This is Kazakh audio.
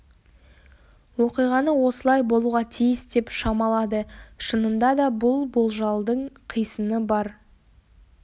оқиғаны осылай болуға тиіс деп шамалады шынында да бұл болжалдың қисыны бар